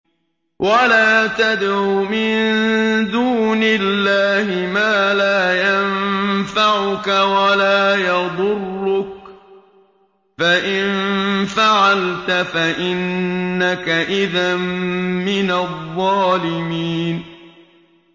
وَلَا تَدْعُ مِن دُونِ اللَّهِ مَا لَا يَنفَعُكَ وَلَا يَضُرُّكَ ۖ فَإِن فَعَلْتَ فَإِنَّكَ إِذًا مِّنَ الظَّالِمِينَ